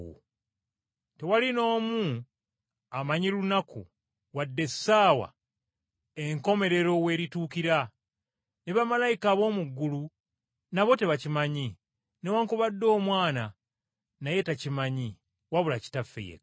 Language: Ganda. “Naye eby’olunaku olwo wadde essaawa tewali n’omu abimanyi, newaakubadde bamalayika ab’omu ggulu nabo tebakimanyi, wadde Omwana, okuggyako Kitaffe yekka.